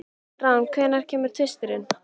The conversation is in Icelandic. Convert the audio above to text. Rán, hvenær kemur tvisturinn?